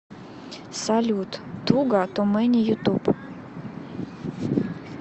салют туга ту мэни ютуб